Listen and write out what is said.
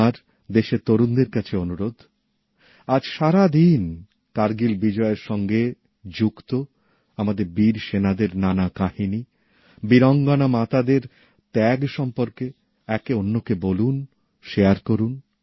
আমার দেশের তরুণদের কাছে অনুরোধ আজ সারা দিন কার্গিল বিজয়ের সঙ্গে যুক্ত আমাদের বীর সেনাদের নানা কাহিনী বীরাঙ্গনা মাতাদের ত্যাগ সম্পর্কে একে অন্যকে বলুন শেয়ার করুন